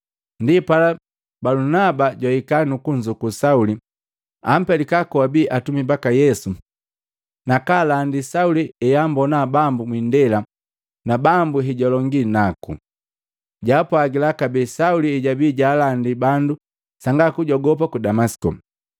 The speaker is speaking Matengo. Ndi pala Balunaba jwahika nukunzuku Sauli, ampelika koabi atumi baka Yesu na kaalandi Sauli heambona Bambu mwindela na Bambu hejwalongi naku. Jaapwagila kabee Sauli hejabii jaalandi badu sanga kujogopa ku Damasiko.